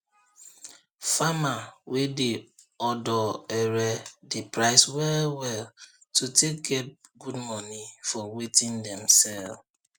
farmer wey dey odo ere dey price well well to take get good money for watin dem sell